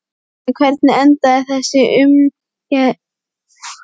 En hvernig endaði þessi ungverski markmaður einmitt á Íslandi?